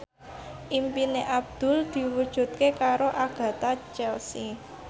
impine Abdul diwujudke karo Agatha Chelsea